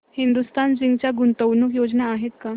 Hindustan Zinc च्या गुंतवणूक योजना आहेत का